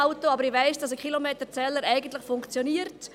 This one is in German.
Aber ich weiss, dass ein Kilometerzähler eigentlich funktioniert.